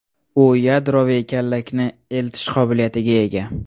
U yadroviy kallakni eltish qobiliyatiga ega.